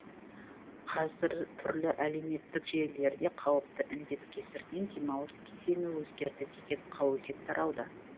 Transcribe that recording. қазір түрлі әлеуметтік желілерде қауіпті індет кесірінен демалыс кезеңі өзгерді деген қауесет тарауда